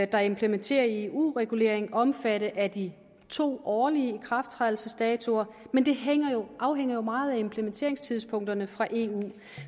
der implementerer en eu regulering omfatte af de to årlige ikrafttrædelsesdatoer men det afhænger jo meget af implementeringstidspunkterne fra eu